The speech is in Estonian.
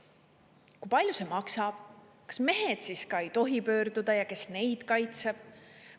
Kui palju see maksab, kas mehed siis ei tohi pöörduda ja kes neid kaitseb?